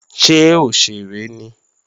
Ṣé òṣèré ni?